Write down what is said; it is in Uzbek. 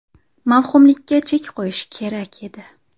Mavhumlikka chek qo‘yish kerak edi.